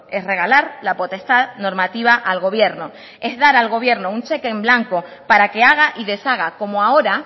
es regalar la potestad normativa al gobierno es dar al gobierno un cheque en blanco para que haga y deshaga como ahora